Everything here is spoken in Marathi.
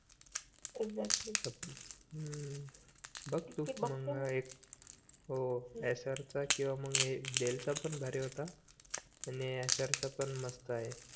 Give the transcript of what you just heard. बघ तू हा मघ एक हो एसरचा किवा मग हे डेल पण भारी होता आणि एसर चा पण मस्त आहे